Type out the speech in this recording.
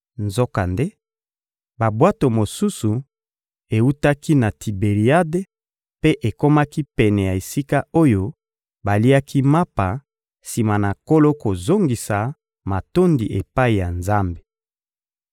Nzokande, babwato mosusu ewutaki na Tiberiade mpe ekomaki pene ya esika oyo baliaki mapa sima na Nkolo kozongisa matondi epai ya Nzambe.